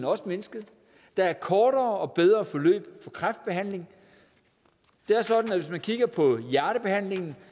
også mindsket der er kortere og bedre forløb i kræftbehandlingen det er sådan at hvis man kigger på hjertebehandlingen